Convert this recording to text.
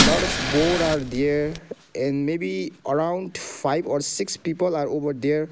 boat are there and may be around five or six people are over there.